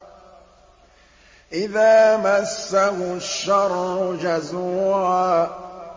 إِذَا مَسَّهُ الشَّرُّ جَزُوعًا